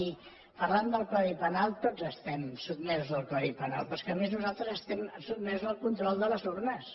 i parlant del codi penal tots estem sotmesos al codi penal però és que a més nosaltres estem sotmesos al control de les urnes